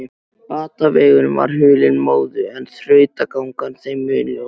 Batavegurinn var hulinn móðu en þrautagangan þeim mun ljósari.